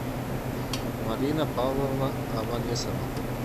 марина павловна аванесова